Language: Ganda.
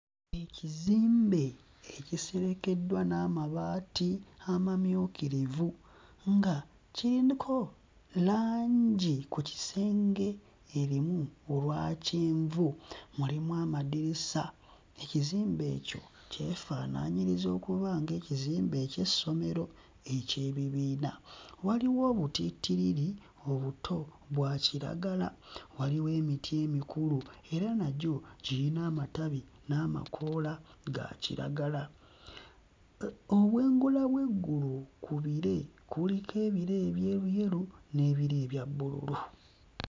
Ekizimbe ekiserekeddwa n'amabaati amamyukirivu nga kiriko langi ku kisenge erimu olwa kyenvu, mulimu amadirisa. Ekizimbe ekyo kyefaanaanyiriza okuba ng'ekizimbe eky'essomero eky'ebibiina. Waliwo obutittirii obuto bwa kiragala, waliwo emiti emikulu era nagyo girina amatabi n'amakoola ga kiragala. Obwengula bw'eggulu ku bire, kuliko ebire ebyeruyeru n'ebya bbululu.